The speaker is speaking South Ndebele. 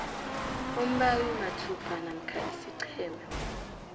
umbawimathupha namkha isiqhema